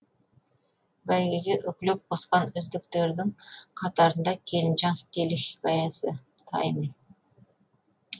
бәйгеге үкілеп қосқан үздіктердің қатарында келінжан телехикаясы тайны